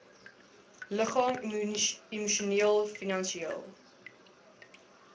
liggaamlik emosioneel finansieel